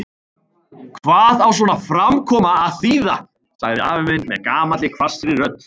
Hvað á svona framkoma að þýða? sagði afi minn með gamalli hvassri rödd.